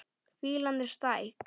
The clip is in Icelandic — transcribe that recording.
Fýlan er stæk.